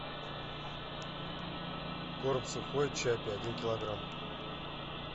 корм сухой чаппи один килограмм